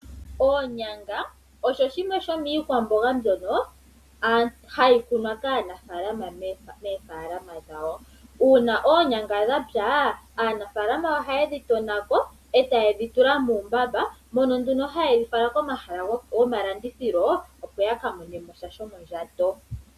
Oonyanga osho shimwe shomiikwamboga mbyono hayi kunwa kaanafalama moofalama dhawo. Uuna oonyanga dhapya aanafalama ohaye dhi tonako etaye dhi tula muumbamba. Mono nduno hayedhi fala komahala gomalandithilo opo yaka mone sha shomondjato.